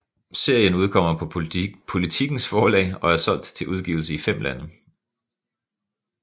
Serien udkommer på Politikens Forlag og er solgt til udgivelse i fem lande